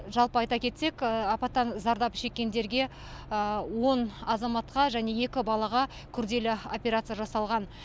жалпы айта кетсек апаттан зардап шеккендерге он азаматқа және екі балаға күрделі операция жасалған